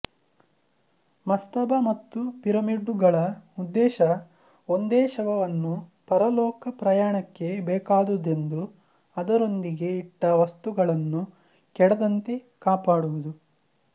ಮಸ್ತಬ ಮತ್ತು ಪಿರಮಿಡ್ಡುಗಳ ಉದ್ದೇಶ ಒಂದೇಶವವನ್ನೂ ಪರಲೋಕ ಪ್ರಯಾಣಕ್ಕೆ ಬೇಕಾದುದೆಂದು ಅದರೊಂದಿಗೆ ಇಟ್ಟ ವಸ್ತುಗಳನ್ನೂ ಕೆಡದಂತೆ ಕಾಪಾಡುವುದು